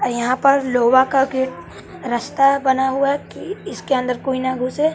यहां पर लोहा का गेट रास्ता बना हुआ है कि इसके अंदर कोई ना घुसे।